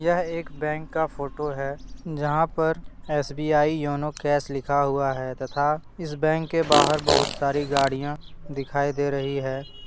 यह एक बैंक का फोटो है। जहां पर S B I YONO cash लिखा हुआ है। तथा इस बैंक के बाहर बहुत सारी गाड़ियां दिखाई दे रही हैं।